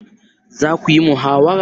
Za ku yi muhawara?